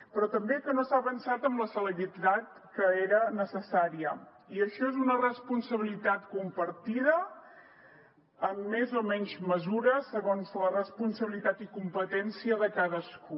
però també que no s’ha avançat amb la celeritat que era necessària i això és una responsabilitat compartida en més o menys mesura segons la responsabilitat i competència de cadascú